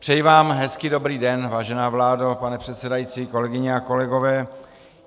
Přeji vám hezký dobrý den, vážená vládo, pane předsedající, kolegyně a kolegové.